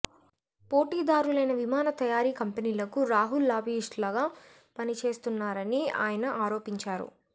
పోటీదారులైన విమాన తయారీ కంపెనీలకు రాహుల్ లాబీయిస్టులాగా పనిచేస్తున్నారని ఆయన ఆరోపించారు